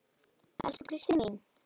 Elsku Kristín mín.